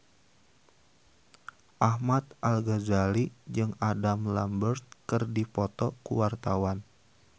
Ahmad Al-Ghazali jeung Adam Lambert keur dipoto ku wartawan